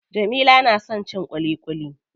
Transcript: Jamila na son cin ƙuliƙuli.